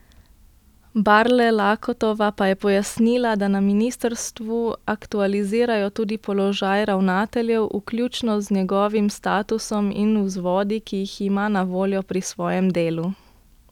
Barle Lakotova pa je pojasnila, da na ministrstvu aktualizirajo tudi položaj ravnateljev, vključno z njegovim statusom in vzvodi, ki jih ima na voljo pri svojem delu.